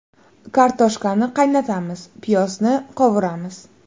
Kartoshkani qaynatamiz, piyozni qovuramiz.